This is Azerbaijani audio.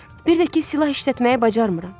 Bir də ki, silah işlətməyi bacarmıram.